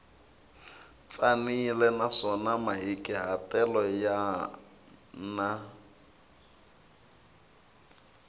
tsanile naswona mahikahatelo ya na